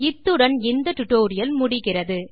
இத்துடன் இந்த டியூட்டோரியல் முடிகிறது